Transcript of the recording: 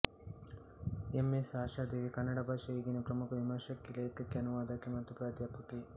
M S Ashadevi Kannada ಭಾಷೆಯ ಈಗಿನ ಪ್ರಮುಖ ವಿಮರ್ಶಕಿ ಲೇಖಕಿ ಅನುವಾದಕಿ ಮತ್ತು ಪ್ರಾಧ್ಯಾಪಕಿ